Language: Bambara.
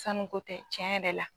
Sanu ko tɛ cɛn yɛrɛ la